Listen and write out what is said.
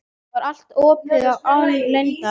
Það var allt opið og án leyndar.